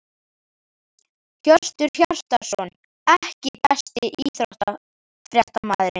Hjörtur Hjartarson EKKI besti íþróttafréttamaðurinn?